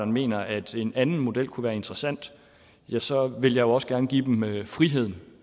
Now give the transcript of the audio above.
mener at en anden model kunne være interessant ja så vil jeg også gerne give dem friheden